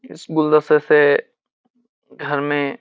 इस घर में --